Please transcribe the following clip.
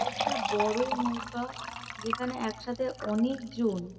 একটা বড়ো নৌকা যেখানে একসাথে অনেক জন--